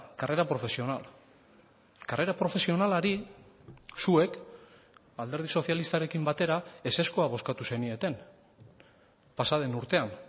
carrera profesional karrera profesionalari zuek alderdi sozialistarekin batera ezezkoa bozkatu zenieten pasa den urtean